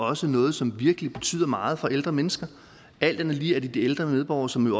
også noget som virkelig betyder meget for ældre mennesker alt andet lige er det de ældre medborgere som jo